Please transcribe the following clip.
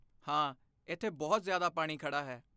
ਹਾਂ, ਇੱਥੇ ਬਹੁਤ ਜ਼ਿਆਦਾ ਪਾਣੀ ਖੜ੍ਹਾ ਹੈ।